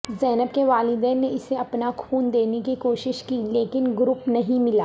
زینب کے والدین نے اسے اپنا خون دینے کی کوشش کی لیکن گروپ نہیں ملا